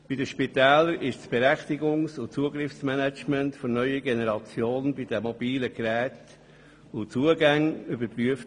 Bei den Spitälern wurde das Berechtigungs- und Zugriffsmanagement der neuen Generation bei den mobilen Geräten und Zugängen überprüft.